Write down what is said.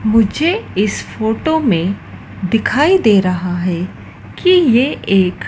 मुझे इस फोटो में दिखाई दे रहा हैं कि ये एक--